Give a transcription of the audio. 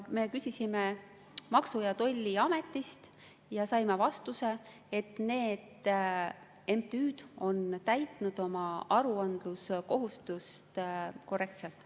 Me küsisime Maksu- ja Tolliametist ja saime vastuse, et need MTÜ-d on täitnud oma aruandluskohustust korrektselt.